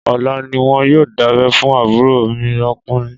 Ọ̀la ní wọn yóò dábẹ́ fún àbúrò mi ọkùnrin